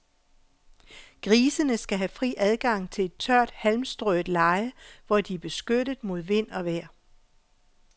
Grisene skal have fri adgang til et tørt, halmstrøet leje, hvor de er beskyttet mod vind og vejr.